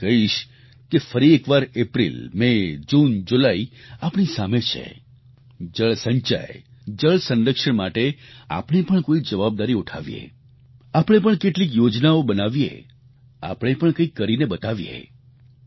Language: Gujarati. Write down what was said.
હું એ જ કહીશ કે ફરી એકવાર એપ્રિલ મે જૂન જુલાઈ આપણી સામે છે જળ સંચય જળ સંરક્ષણ માટે આપણે પણ કોઈ જવાબદારી ઉઠાવીએ આપણે પણ કેટલીક યોજનાઓ બનાવીએ આપણે પણ કંઈક કરીને બતાવીએ